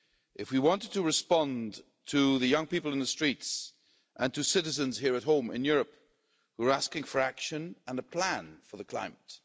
if we wanted to respond to the young people in the streets and to citizens here at home in Europe who are asking for action and a plan for the climate.